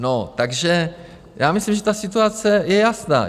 No, takže já myslím, že ta situace je jasná.